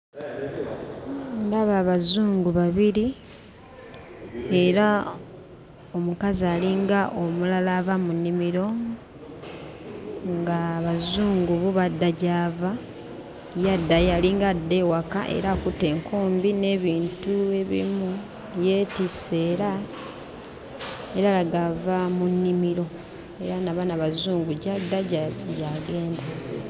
Ndaba Abazungu babiri era omukazi alinga omulala ava mu nnimiro, ng'Abazungu bo badda gy'ava, ye addayo alinga adda ewaka era akutte enkumbi n'ebintu ebimu yeetisse era, era alaga ava mu nnimiro era na bano Abazungu gy'adda gy'agenda.